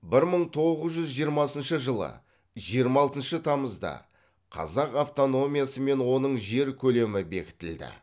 бір мың тоғыз жүз жиырмасыншы жылы жиырма алтыншы тамызда қазақ автономиясы мен оның жер көлемі бекітілді